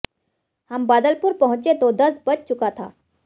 हम बादलपुर पहुंचे तो दस बज चुका था